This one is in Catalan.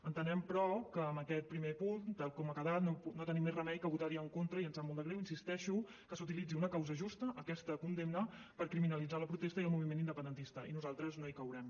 entenem però que en aquest primer punt tal com ha quedat no tenim més remei que votar hi en contra i ens sap molt de greu hi insisteixo que s’utilitzi una causa justa aquesta condemna per criminalitzar la protesta i el moviment independentista i nosaltres no hi caurem